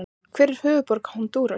Hver er höfuðborg Honduras?